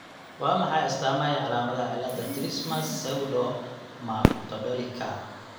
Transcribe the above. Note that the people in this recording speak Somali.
Waa maxay astaamaha iyo calaamadaha cillada Trismus pseudocamptodactylyka?